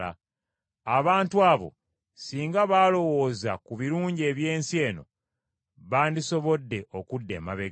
Abantu abo singa baalowooza ku birungi eby’ensi eno bandisobodde okudda emabega.